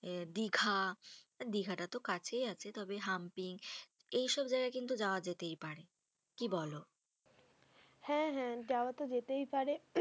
আ দিঘা, দিঘা টা তো কাছেই আছে। তবে হামপিং, এইসব জায়গায় কিন্তু যাওয়া যেতেই পারে। কি বলো? হ্যাঁ হ্যাঁ, যাওয়া তো যেতেই পারে।